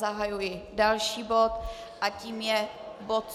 Zahajuji další bod a tím je bod